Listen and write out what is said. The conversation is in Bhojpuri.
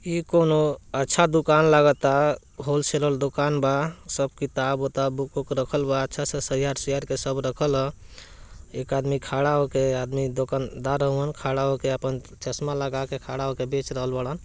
ई कोनु अच्छा दुकान लागता व्होलसेलर दुकान बा सब किताब-उताब बुक रखल बा अच्छा से सैयार-ुइयार के सब रखल ह एक आदमी खड़ा होके ये आदमी दुकानदार होवन खड़ा होके आपन चश्मा लगा के खड़ा होके बेच रहल बारन |